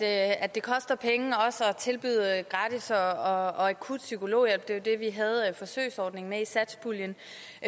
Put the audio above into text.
at det koster penge også at tilbyde gratis og akut psykologhjælp det var det vi havde forsøgsordningen med i satspuljen